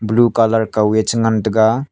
blue colour kaw e chengan taiga.